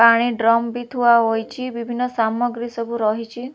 ପାଣି ଡ୍ରମ ବି ଥୁଆ ହୋଇଛି ବିଭିନ୍ନ ସାମଗ୍ରୀ ସବୁ ରହିଛି।